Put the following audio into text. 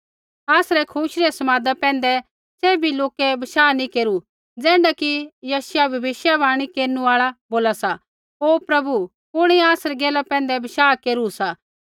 आसरै खुशी रै समादा पैंधै सैभी लोकै बशाह नैंई केरू ज़ैण्ढा कि यशायाह भविष्यवाणी केरनु आल़ा बोला सा ओ प्रभु कुणिऐ आसरी गैला पैंधै बशाह केरू सा